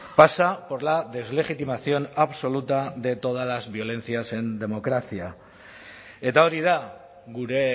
pasa por la deslegitimación absoluta de todas las violencias en democracia eta hori da gure